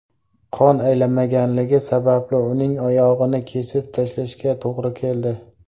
Qon aylanmaganligi sababli uning oyog‘ini kesib tashlashga to‘g‘ri keldi.